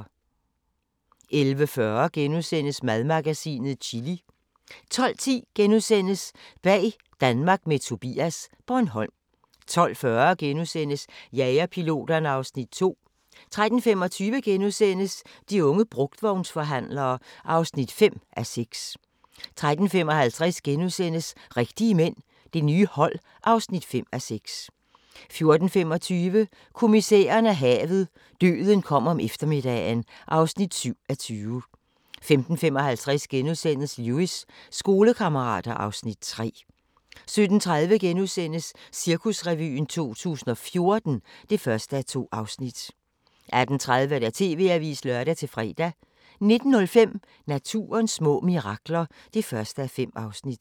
11:40: Madmagasinet - chili * 12:10: Bag Danmark med Tobias - Bornholm * 12:40: Jagerpiloterne (Afs. 2)* 13:25: De unge brugtvognsforhandlere (5:6)* 13:55: Rigtige mænd – det nye hold (5:6)* 14:25: Kommissæren og havet: Døden kom om eftermiddagen (7:20) 15:55: Lewis: Skolekammerater (Afs. 3)* 17:30: Cirkusrevyen 2014 (1:2)* 18:30: TV-avisen (lør-fre) 19:05: Naturens små mirakler (1:5)